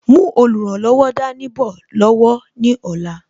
Mú olùrànlọ́wọ̀ dání bọ̀ lọ́wọ́ ní ọ̀la